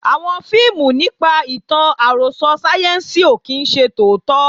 Àwọn fíìmù nípa ìtàn àròsọ sáyẹ́ǹsì ò kí ń ṣe tòótọ́